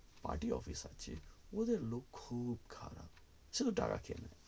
party office আছে কিন্তু ওদের লোক খুব খারাপ শুধু টাকা চেয়ে নেয়